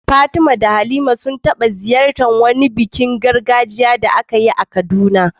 Fatima da Halima sun taɓa halartar wani bikin gargajiya da aka yi a Kaduna.